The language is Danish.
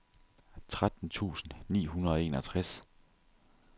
tretten tusind ni hundrede og enogtres